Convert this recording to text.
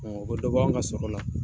o bɛ dɔ b' an ka sɔrɔla la